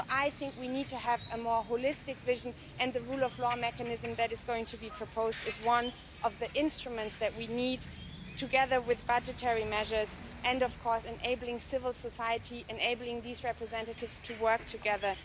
I think we need to have a more holistic vision, and the rule of law mechanism that is going to be proposed is one of the instruments that we need, together with budgetary measures and, of course, enabling civil society, enabling these representatives to work together.